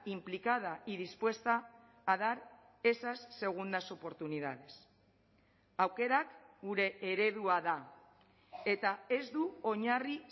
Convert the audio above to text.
implicada y dispuesta a dar esas segundas oportunidades aukerak gure eredua da eta ez du oinarri